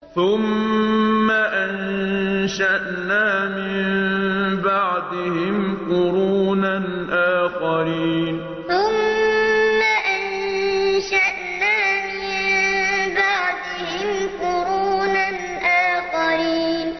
ثُمَّ أَنشَأْنَا مِن بَعْدِهِمْ قُرُونًا آخَرِينَ ثُمَّ أَنشَأْنَا مِن بَعْدِهِمْ قُرُونًا آخَرِينَ